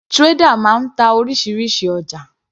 Trader máa ń ta orísirísi ọjà.